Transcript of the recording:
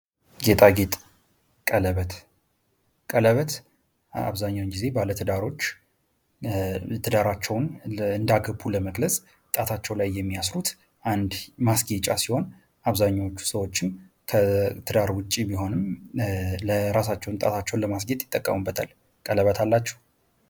ጌጣጌጥ ቀለበት፦ ቀለበት አብዛኛውን ጊዜ ባለትዳሮች በሰርጋቸው ጊዜ እንዳገቡ ለመግለጽ ጣታቸው ላይ የሚያስሩት አንድ ማስጌጫ ሲሆን አብዘኃኛው ሰዎችም ከትዳር ውጭም ቢሆን ጣታቸውን ለማስጌጥ ይጠቀሙበታል። እናንተ ቀለበት አላችሁ?